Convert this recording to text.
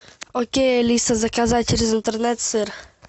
окей алиса заказать через интернет сыр